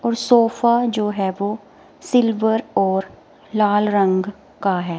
और सोफा जो है वो सिल्वर और लाल रंग का है।